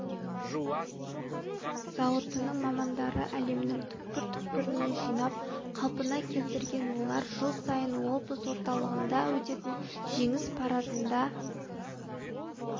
зауытының мамандары әлемнің түкпір-түкпірінен жинап қалпына келтірген олар жыл сайын облыс орталығында өтетін жеңіс парадында